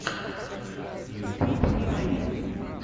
ютюб аид